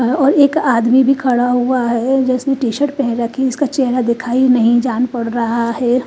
और एक आदमी भी खड़ा हुआ है जिसने टी शर्ट पहन रखी है उसका चेहरा दिखाई नहीं जान पड़ रहा है।